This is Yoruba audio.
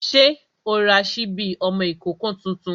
Ṣé o ra sípí ọmọ ìkókó tuntun?